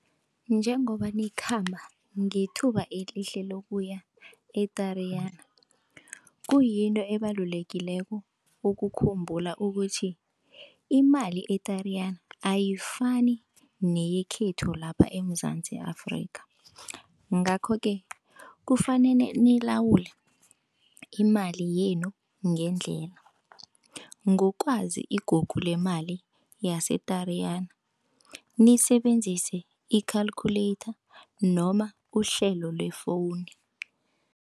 Njengoba nikhamba ngethuba elihle lokuya e-Tariyana kuyinto ebalulekileko ukukhumbula ukuthi, imali e-Tariyana ayifani neyekhethu lapha eMzansi Afrika, ngakho-ke, kufanele nilawule imali yenu ngendlela, ngokwazi igugu lemali yase-Triyana, nisebenzise i-calculator noma uhlelo le-phone.